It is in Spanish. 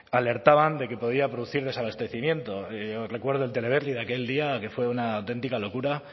alertaban de que podía producir desabastecimiento yo recuerdo el teleberri de aquel día que fue una auténtica locura